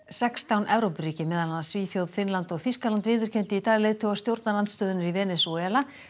sextán Evrópuríki meðal annars Svíþjóð Finnland og Þýskaland viðurkenndu í dag leiðtoga stjórnarandstöðunnar í Venesúela